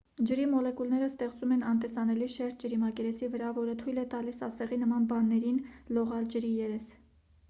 ջրի մոլեկուլները ստեղծում են անտեսանելի շերտ ջրի մակերեսի վրա որը թույլ է տալիս ասեղի նման բաներին լողալ ջրի երես